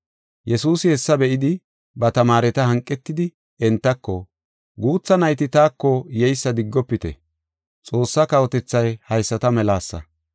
Yesuusi hessa be7idi, ba tamaareta hanqetidi; entako, “Guutha nayti taako yeysa diggofite; Xoossaa kawotethay haysata melasa.